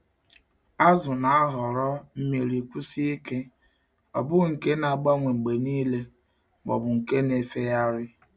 Azụ na-ahọrọ mmiri kwụsie ike—ọ bụghị nke na-agbanwe mgbe niile ma ọ bụ nke na-efegharị.